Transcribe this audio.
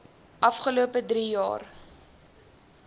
afgelope drie jaar